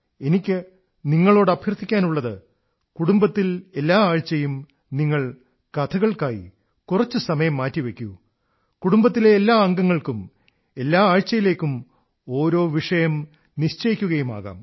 എനിക്കു നിങ്ങളോട് അഭ്യർഥിക്കാനുള്ളത് കുടുംബത്തിൽ എല്ലാ ആഴ്ചയും നിങ്ങൾ കഥകൾക്കായി കുറച്ചു സമയം മാറ്റി വയ്ക്കൂ കുടുംബത്തിലെ എല്ലാ അംഗങ്ങൾക്കും എല്ലാ ആഴ്ചയിലേക്കും ഓരോ വിഷയം നിശ്ചയിക്കുകയുമാകാം